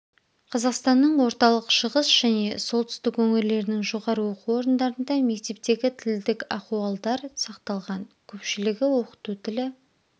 қазақстанның орталық шығыс және солтүстік өңірлерінің жоғары оқу орындарында мектептегі тілдік ахуалдар сақталған көпшілігі оқыту тілі